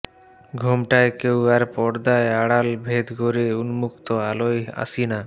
ঘোমটায় কেউ আর পর্দার আড়াল ভেদ কোরে উন্মুক্ত আলোয় আসিনা